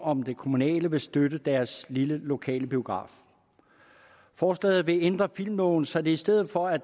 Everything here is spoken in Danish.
om det kommunale vil støtte deres lille lokale biograf forslaget vil ændre filmloven så det i stedet for at